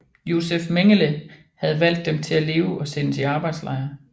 Josef Mengele havde valgt dem til at leve og sendes i arbejdslejr